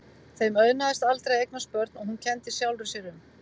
Þeim auðnaðist aldrei að eignast börn og hún kenndi sjálfri sér um.